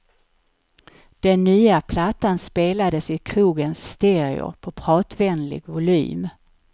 Den nya plattan spelades i krogens stereo på pratvänlig volym.